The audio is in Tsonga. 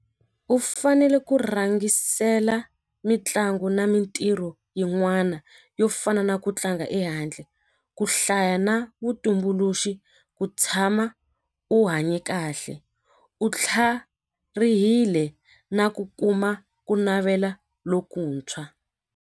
U fanele ku rhangisela mitlangu na mintirho yin'wana yo fana na ku tlanga ehandle ku hlaya na vutumbuluxi ku tshama u hanye kahle u tlharihile na ku kuma ku navela lokuntshwa.